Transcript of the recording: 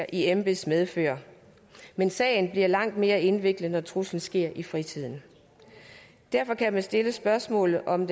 i embeds medfør men sagen bliver langt mere indviklet når truslen sker i fritiden derfor kan man stille spørgsmålet om om